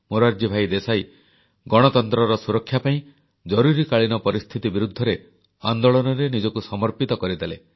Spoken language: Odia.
ମୋରାରଜୀ ଭାଇ ଦେଶାଇ ଗଣତନ୍ତ୍ରର ସୁରକ୍ଷା ପାଇଁ ଜରୁରୀକାଳୀନ ପରିସ୍ଥିତି ବିରୁଦ୍ଧରେ ଆନ୍ଦୋଳନରେ ନିଜକୁ ସର୍ମପିତ କରିଦେଲେ